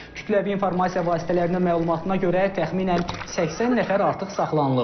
Kütləvi informasiya vasitələrinin məlumatına görə təxminən 80 nəfər artıq saxlanılıb.